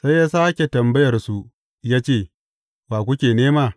Sai ya sāke tambayar su ya ce, Wa kuke nema?